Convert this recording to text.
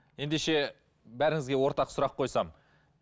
ендеше бәріңізге ортақ сұрақ қойсам